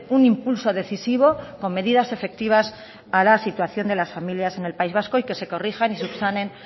un impulso decisivo con medidas efectivas a la situación de las familias en el país vasco y que se corrijan y subsanen